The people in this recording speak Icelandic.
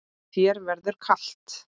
Þér verður kalt